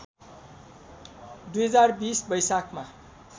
२०२० वैशाखमा